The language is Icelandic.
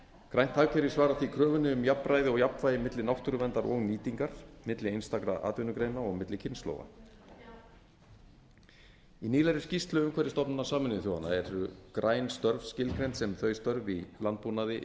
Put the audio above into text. grænt hagkerfi svarar því kröfunni um jafnræði og jafnvægi milli náttúruverndar og nýtingar milli einstakra atvinnugreina og milli kynslóða í nýlegri skýrslu umhverfisstofnunar sameinuðu þjóðanna eru græn störf skilgreind sem þau störf í landbúnaði